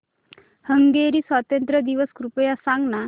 Hungary स्वातंत्र्य दिवस कृपया सांग ना